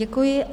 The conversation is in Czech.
Děkuji.